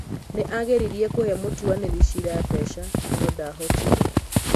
nĩ aageririe kũhe mũtuanĩri cira mbeca no ndaahotire